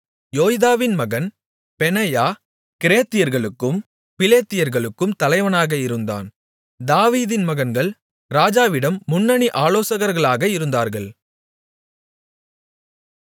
யோய்தாவின் மகன் பெனாயா கிரேத்தியர்களுக்கும் பிலேத்தியர்களுக்கும் தலைவனாக இருந்தான் தாவீதின் மகன்கள் ராஜாவிடம் முன்னணி ஆலோசகர்களாக இருந்தார்கள்